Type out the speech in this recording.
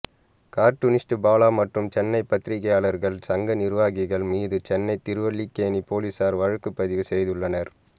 cartoonist Bala மற்றும் சென்னை பத்திரிகையாளர்கள் சங்க நிர்வாகிகள் மீது சென்னை திருவல்லிக்கேணி போலீஸார் வழக்குப் பதிவு செய்துள்ளனர்